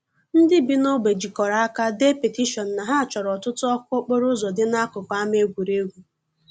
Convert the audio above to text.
Ndị bi n'ogbe jikọrọ aka dee petishion na ha chọrọ ọtụtụ ọkụ okporo ụzọ dị n'akụkụ ama egwuregwu.